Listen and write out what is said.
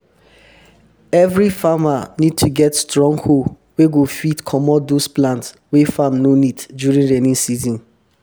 every farmer need to get strong hoe wey go fit comot those plant wey farm no need during rainy season